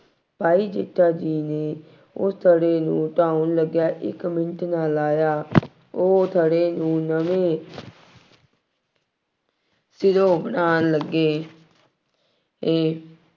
ਭਾਈ ਜੇਠਾ ਜੀ ਨੇ ਉਸ ਥੜ੍ਹੇ ਨੂੰ ਢਾਉਣ ਲੱਗਿਆਂ ਇੱਕ ਮਿੰਟ ਨਾ ਲਾਇਆ। ਉਹ ਥੜ੍ਹੇ ਨੂੰ ਨਵੇਂ ਸਿਰੋਂ ਬਣਾਉਣ ਲੱਗੇ ਅਤੇ